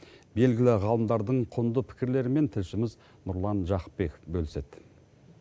белгілі ғалымдардың құнды пікірлерімен тілшіміз нұрлан жақыпбек бөліседі